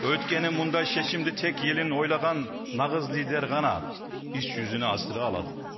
өйткені мұндай шешімді тек елін ойлаған нағыз лидер ғана іс жүзіне асыра алады